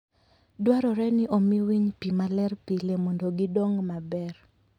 Dwarore ni omi winy pi maler pile mondo gidong maber.